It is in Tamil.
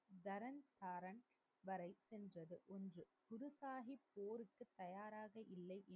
தரன் தாரன் வரை இருந்தது என்று குரு சாஹிப் போருக்கு தயாராகவில்லை